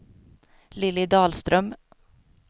Lilly Dahlström